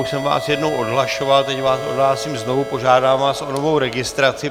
Už jsem vás jednou odhlašoval, teď vás odhlásím znovu, požádám vás o novou registraci.